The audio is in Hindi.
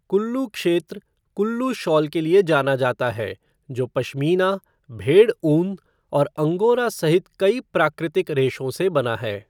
कुल्लू क्षेत्र कुल्लू शॉल के लिए जाना जाता है, जो पश्मीना, भेड़ ऊन और अंगोरा सहित कई प्राकृतिक रेशों से बना है।